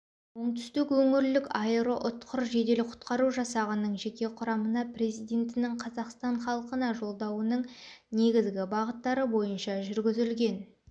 оңтүстік өңірлік аэроұтқыр жедел құтқару жасағының жеке құрамына президентінің қазақстан халықына жолдауының негізгі бағыттары бойынша жүргізілген